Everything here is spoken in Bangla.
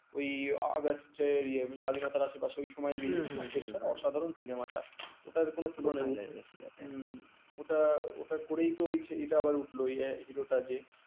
ওটা ওটা করেই তো ওইটা আবার উঠলো hero যে